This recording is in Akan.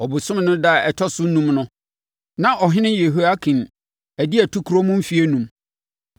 Ɔbosome no ɛda a ɛtɔ so enum no, na ɔhene Yehoiakin adi atukorɔ mu mfeɛ enum.